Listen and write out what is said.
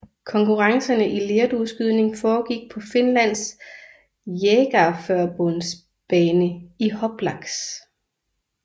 Konkurrencerne i lerdueskydning foregik på Finlands Jägarförbunds bane i Hoplax